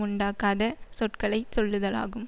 உண்டாக்காத சொற்களை சொல்லுதலாகும்